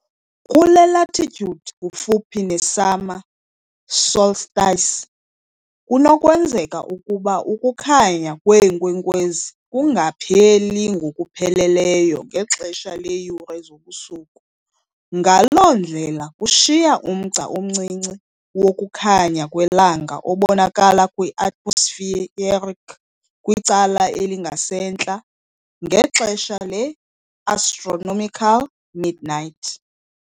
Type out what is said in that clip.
Kule latitude, kufuphi ne-summer solstice, kunokwenzeka ukuba ukukhanya kweenkwenkwezi kungapheli ngokupheleleyo ngexesha leeyure zobusuku, ngaloo ndlela kushiya umgca omncinci wokukhanya kwelanga obonakala kwi-atmospheric kwicala elingasentla, ngexesha le-astronomical midnight.